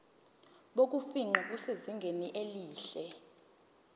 bokufingqa busezingeni elihle